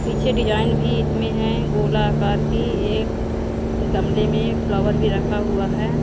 पीछे डिजाइन भी इसमें है गोलाकार की एक गमले में फ्लावर भी रखा हुआ है।